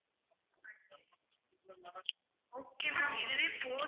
okay ma'am இதுவே போதும்